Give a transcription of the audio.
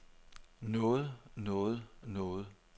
noget noget noget